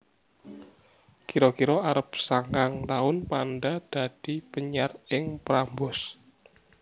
Kira kira arep sangang taun Panda dadi penyiar ing Prambors